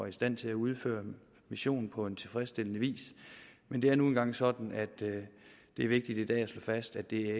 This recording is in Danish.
i stand til at udføre missionen på en tilfredsstillende vis men det er nu engang sådan at det er vigtigt i dag at slå fast at det